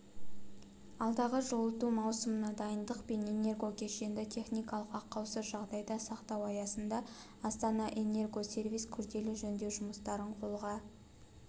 алдағы жылыту маусымына дайындық пен энергокешенді техникалық ақаусыз жағдайда сақтау аясында астанаэнергосервис күрделі жөндеу жұмыстарын қолға